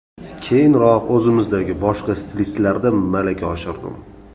Keyinroq o‘zimizdagi boshqa stilistlarda malaka oshirdim.